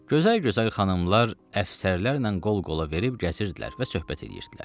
Gözəl-gözəl xanımlar əfsərlərlə qol-qola verib gəzirdilər və söhbət eləyirdilər.